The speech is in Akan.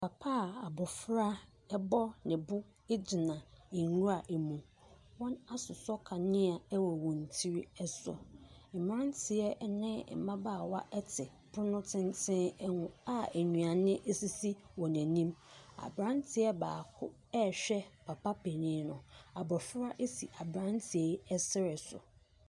Papa a abɔfra bɔ ne bo gyina nwura mu. Wɔasosɔ kanea wɔ wɔn ti so. Mmeranteɛ ne, mmabaawa te pono tenten ho a nnuane sisi wɔn ani. Aberanteɛ baako rehwɛ papa panin no. Abɔfra si abreanteɛ yi serɛ so.